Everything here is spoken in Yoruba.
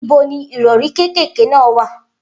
Ibo ni ìrọ̀rí kékèké náà wà?